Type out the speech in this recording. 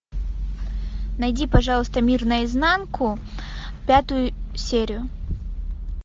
найди пожалуйста мир наизнанку пятую серию